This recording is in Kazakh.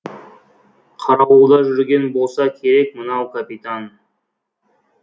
қарауылда жүрген болса керек мынау капитан